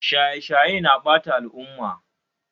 Shaye shaye na ɓata al'umma